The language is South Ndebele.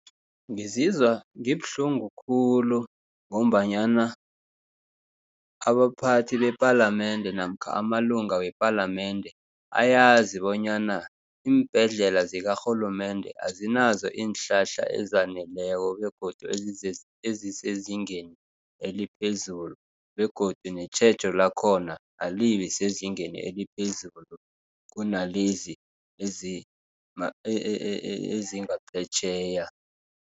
Ngizizwa ngibuhlungu khulu, ngombanyana abaphathi bepalamende, namkha amalunga wepalamende, ayazi bonyana iimbhedlela zikarhulumende azinazo iinhlahla ezaneleko, begodu ezisezingeni eliphezulu, begodu netjhejo lakhona alibesezingeni eliphezulu kunalezi ezingaphetjheya.